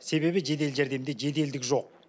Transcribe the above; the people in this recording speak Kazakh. себебі жедел жәрдемде жеделдік жоқ